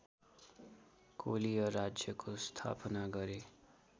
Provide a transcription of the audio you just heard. कोलीय राज्यको स्थापना गरे